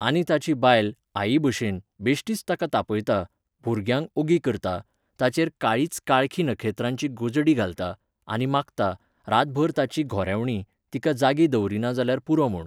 आनी ताची बायल, आई भशेन, बेश्टीच ताका तापयता, भुरग्यांक ओगी करता, ताचेर काळीच काळखी नखेत्रांची गोजडी घालता, आनी मागता, रातभर ताची घोरेवणी, तिका जागी दवरिना जाल्यार पुरो म्हूण.